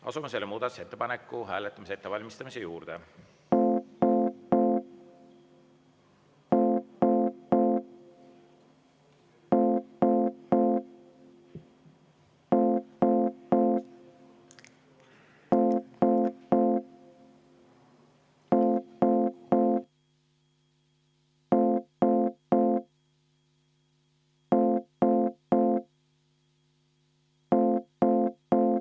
Asume selle muudatusettepaneku hääletamise ettevalmistamise juurde.